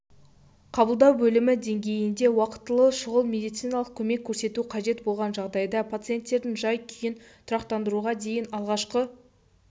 қабылдау бөлімі деңгейінде уақтылы шұғыл медициналық көмек көрсету қажет болған жағдайда пациенттердің жай-күйін тұрақтандыруға дейін алғашқы